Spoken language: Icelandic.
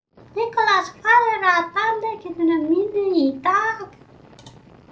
Nikolas, hvað er á dagatalinu mínu í dag?